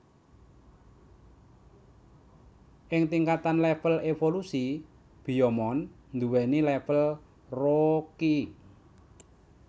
Ing tingkatan level evolusi Biyomon duweni level Rookie